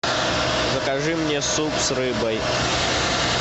закажи мне суп с рыбой